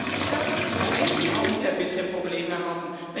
Ich glaube, dass wir einige haben, die ein bisschen Probleme haben.